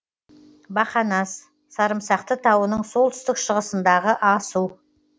бақанас сарымсақты тауының солтүстік шығысындағы асу